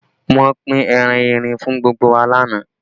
Wọ́n pín ẹran erin fún gbogbo wa lánàá